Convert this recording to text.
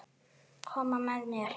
Koma með þér?